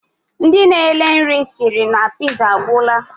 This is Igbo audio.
Ndi na ele nri siri na piza, agwura.